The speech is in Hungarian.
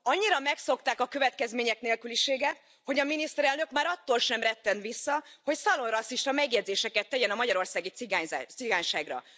Annyira megszokták a következmények nélküliséget, hogy a miniszterelnök már attól sem retten vissza, hogy szalonrasszista megjegyzéseket tegyen a magyarországi cigányságra.